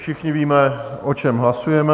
Všichni víme, o čem hlasujeme.